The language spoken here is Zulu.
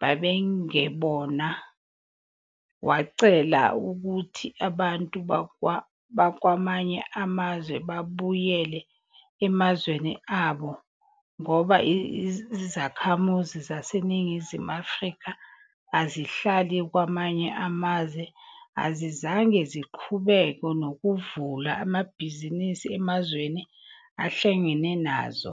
babengebona, wacela ukuthi abantu bakwamanye amazwe babuyele emazweni abo ngoba izakhamuzi zaseNingizimu Afrika ezihlala kwamanye amazwe azizange ziqhubeke nokuvula amabhizinisi emazweni ahlangene nazoo.